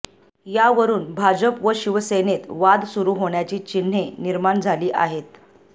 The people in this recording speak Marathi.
यावरून भाजप व शिवसेनेत वाद सुरू होण्याची चिन्हे निर्माण झाली आहेत